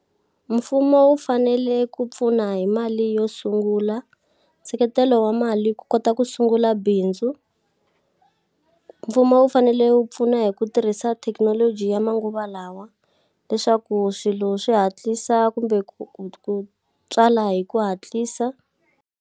Mfumo wu fanele ku pfuna hi mali yo sungula, nseketelo wa mali ku kota ku sungula bindzu. Mfumo wu fanele wu pfuna hi ku tirhisa thekinoloji ya manguva lawa leswaku swilo swi hatlisa kumbe ku ku ku tswala hi ku hatlisa.